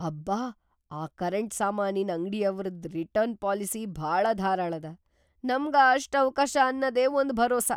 ಅಬ್ಬಾ ಆ ಕರೆಂಟ್‌ ಸಾಮಾನಿನ್‌ ಅಂಗ್ಡಿಯವ್ರದ್‌ ರಿಟರ್ನ್‌ ಪಾಲಿಸಿ ಭಾಳ ಧಾರಾಳದ; ನಮ್ಗ ಅಷ್ಟ್ ಅವ‌ಕಾಶ್ ಅನ್ನದೇ ಒಂದ್ ಭರೋಸಾ.